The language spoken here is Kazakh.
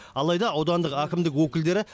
алайда аудандық әкімдік өкілдері